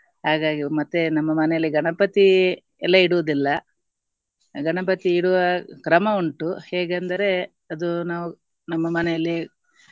ಹಾಗಾಗಿ ಮತ್ತೆ ನಮ್ಮ ಮನೆಯಲ್ಲಿ ಗಣಪತಿ ಎಲ್ಲ ಇಡುವುದಿಲ್ಲ ಗಣಪತಿ ಇಡುವ ಕ್ರಮ ಉಂಟು ಹೇಗೆಂದರೆ ಅದು ನಾವು ನಮ್ಮ ಮನೆಯಲ್ಲಿ